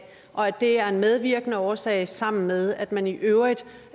og at dét er en medvirkende årsag sammen med at man i øvrigt